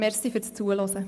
Danke fürs Zuhören.